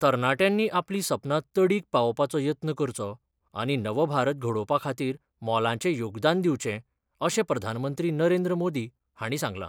तरणाट्यांनी आपली सपनां तडीक पावोवपाचो यत्न करचो आनी नवभारत घडोवपा खातीर मोलाचें योगदान दिवचें अशें प्रधानमंत्री नरेंद्र मोदी हांणी सांगलां.